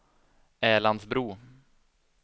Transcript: Älandsbro